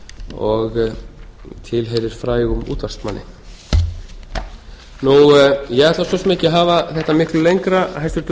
og tilheyrir frægum útvarpsmanni ég ætla svo sem ekki að hafa þetta miklu lengra hæstvirtur